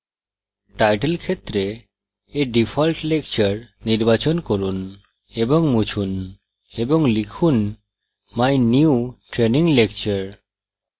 title ফীল্ডে a default lecture নির্বাচন করুন এবং মুছুন এবং লিখুন my new training lecture